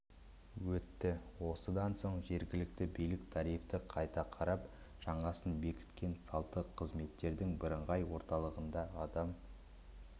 өтті осыдан соң жергілікті билік тарифті қайта қарап жаңасын бекіткен салттық қызметтердің бірыңғай орталығында адам